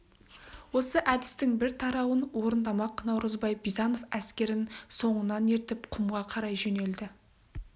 осы әдістің бір тарауын орындамақ наурызбай бизанов әскерін соңынан ертіп құмға қарай жөнелді